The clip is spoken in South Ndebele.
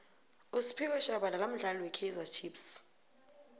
usphiwe shabalala mdlali we kaizer chiefs